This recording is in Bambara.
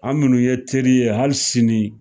An minnu ye teri ye hali sini